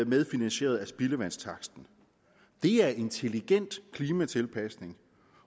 medfinansieret af spildevandstaksten det er intelligent klimatilpasning